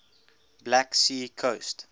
black sea coast